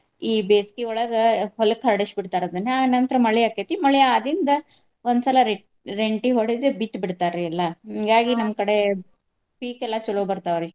ಈ ಬೇಸಿಗೆಯೊಳಗ ಹೊಲಕ್ಕ ಹರಡಿಸಿ ಬಿಡ್ತಾರ ಅದನ್ನ. ಆ ನಂತರ ಮಳಿ ಆಕ್ಕೇತಿ ಮಳಿ ಆದಿಂದ ಒಂದ್ ಸಲ ರೆ~ ರೆಂಟಿ ಹೊಡದ್ ಬಿತ್ತಿ ಬಿಡ್ತಾರಿ ಎಲ್ಲಾ. ಹಿಂಗಾಗಿ ಕಡೆ ಪೀಕ್ ಎಲ್ಲಾ ಚಲೋ ಬರ್ತಾವ್ರಿ.